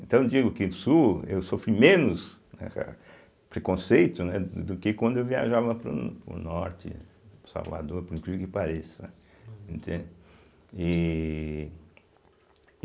Então eu digo que no sul eu sofri menos, né preconceito, né do do que quando eu viajava para o para o norte, Salvador, por incrível que pareça, entende. e